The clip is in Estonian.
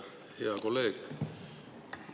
Hea kolleeg!